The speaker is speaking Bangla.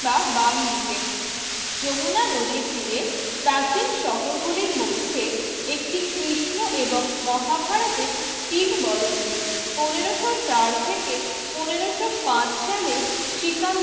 বা বামদিকে যমুনা নদীর তীরে প্রাচীন শহরগুলির মধ্যে একটি কৃষ্ণ এবং মহাভারতের কিংবদন্তির পনেরশো চার থেকে পনেরশো পাঁচ সালে শ্রীকান